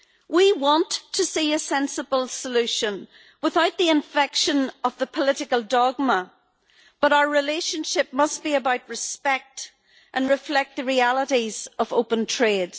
We want to see a sensible solution without the infection of a political dogma, but our relationship must be about respect and reflect the realities of open trade.